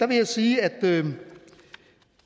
vil jeg sige at